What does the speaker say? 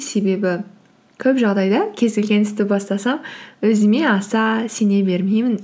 себебі көп жағдайда кез келген істі бастасам өзіме аса сене бермеймін